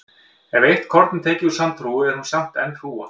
Ef eitt korn er tekið úr sandhrúga er hún samt enn hrúga.